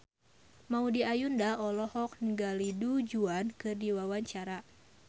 Maudy Ayunda olohok ningali Du Juan keur diwawancara